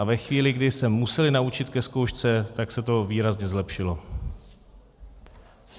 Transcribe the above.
A ve chvíli, kdy se museli naučit ke zkoušce, tak se to výrazně zlepšilo.